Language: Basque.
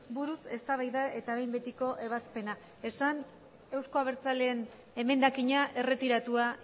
buruz eztabaida eta behin betiko ebazpena esan eusko abertzaleen emendakina erretiratua